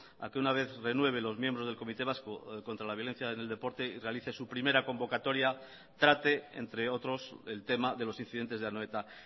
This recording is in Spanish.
a que una vez renueve los miembros del comité vasco contra la violencia en el deporte y realice su primera convocatoria trate entre otros el tema de los incidentes de anoeta